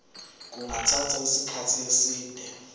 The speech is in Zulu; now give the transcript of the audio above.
kungathatha isikhathi eside